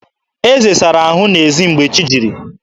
Eze sara ahụ n'ezi mgbe chi jiri